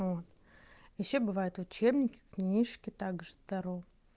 вот ещё бывает учебники книжки также таро